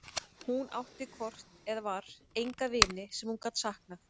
Hún átti hvort eð var enga vini sem hún gat saknað.